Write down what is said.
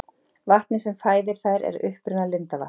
Vatnið sem fæðir þær er að uppruna lindavatn.